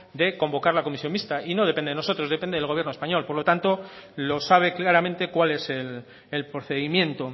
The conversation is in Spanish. de convocar la comisión mixta y no depende de nosotros depende del gobierno español por lo tanto lo sabe claramente cuál es el procedimiento